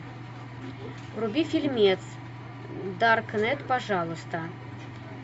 вруби фильмец даркнет пожалуйста